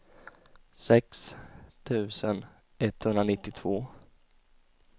sex tusen etthundranittiotvå